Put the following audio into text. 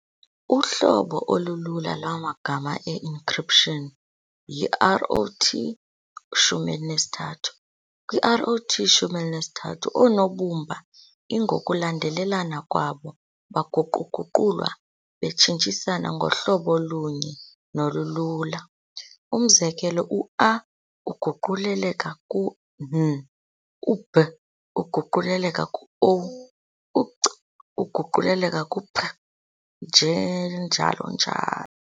Uhlobo olulula lwamagama e-ncryption y- iROT13. kwi-ROT13, oonobumba lngokulandelelana kwabo baguqu-guqulwa betshintsisana ngohlobo olunye nolulula. Umzekelo, u-"A" uguquleleka ku-"N", "u-B" uguquleleka ku-"O", u-"C" uguquleleka ku-"P", nje njalo njalo.